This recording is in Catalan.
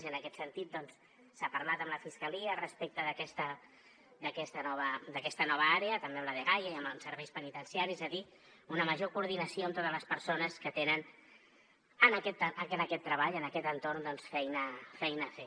i en aquest sentit doncs s’ha parlat amb la fiscalia respecte d’aquesta nova d’aquesta nova àrea també amb la dgaia i amb els serveis penitenciaris és a dir una major coordinació amb totes les persones que tenen en aquest treball en aquest entorn doncs feina feina a fer